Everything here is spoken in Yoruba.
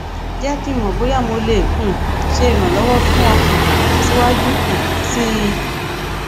jẹ ki n mọ boya mo le um ṣe iranlọwọ fun ọ um siwaju um sii